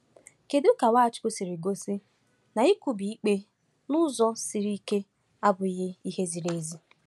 Kedu ka Nwachukwu siri gosi na ikwubi ikpe n’ụzọ siri ike abụghị ihe ziri ezi?